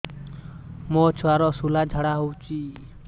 ମୋ ଛୁଆର ସୁଳା ଝାଡ଼ା ହଉଚି